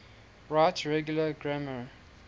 right regular grammar